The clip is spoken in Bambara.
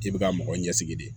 I bɛ ka mɔgɔ ɲɛsigi de